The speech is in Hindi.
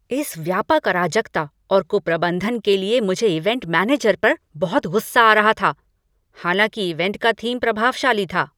इस व्यापक अराजकता और कुप्रबंधन के लिए मुझे इवेंट मैनेजर पर बहुत गुस्सा आ रहा था, हालांकि इवेंट का थीम प्रभावशाली था।